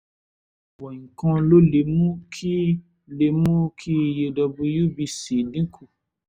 ọ̀pọ̀ nǹkan ló lè mú kí lè mú kí iye wbc dín kù